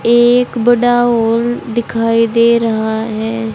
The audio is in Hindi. एक बडा ओल दिखाई दे रहा है।